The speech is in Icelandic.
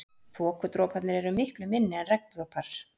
Þokudroparnir eru miklu minni en regndropar.